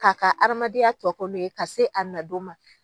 K'a ka hadamadenya tɔ kɛ no ye ka se a na don ma.